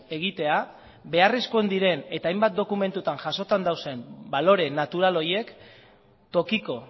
egitea beharrezkoak diren eta hainbat dokumentuetan jasota dauden balore natural horiek tokiko